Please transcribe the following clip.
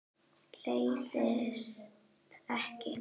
Leiðist ekki.